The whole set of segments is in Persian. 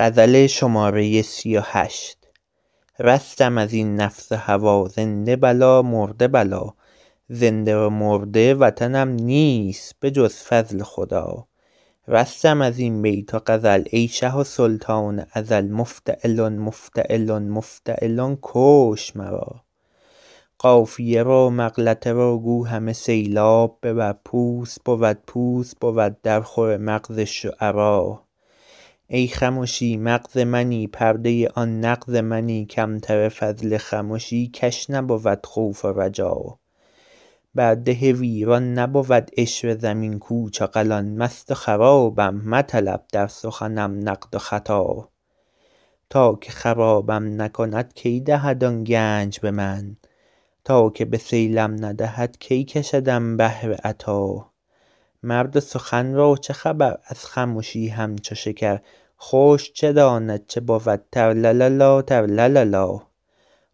رستم از این نفس و هوا زنده بلا مرده بلا زنده و مرده وطنم نیست به جز فضل خدا رستم از این بیت و غزل ای شه و سلطان ازل مفتعلن مفتعلن مفتعلن کشت مرا قافیه و مغلطه را گو همه سیلاب ببر پوست بود پوست بود درخور مغز شعرا ای خمشی مغز منی پرده آن نغز منی کم تر فضل خمشی کش نبود خوف و رجا بر ده ویران نبود عشر زمین کوچ و قلان مست و خرابم مطلب در سخنم نقد و خطا تا که خرابم نکند کی دهد آن گنج به من تا که به سیلم ندهد کی کشدم بحر عطا مرد سخن را چه خبر از خمشی همچو شکر خشک چه داند چه بود ترلللا ترلللا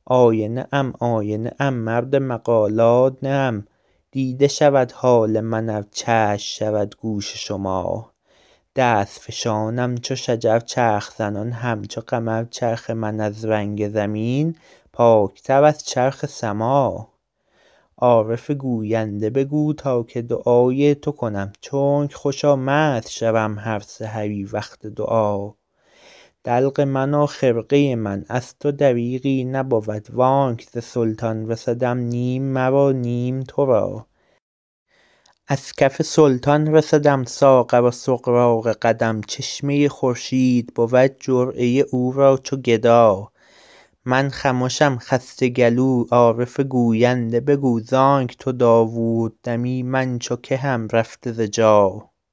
آینه ام آینه ام مرد مقالات نه ام دیده شود حال من ار چشم شود گوش شما دست فشانم چو شجر چرخ زنان همچو قمر چرخ من از رنگ زمین پاک تر از چرخ سما عارف گوینده بگو تا که دعای تو کنم چون که خوش و مست شوم هر سحری وقت دعا دلق من و خرقه من از تو دریغی نبود و آن که ز سلطان رسدم نیم مرا نیم تو را از کف سلطان رسدم ساغر و سغراق قدم چشمه خورشید بود جرعه او را چو گدا من خمشم خسته گلو عارف گوینده بگو ز آن که تو داوود دمی من چو کهم رفته ز جا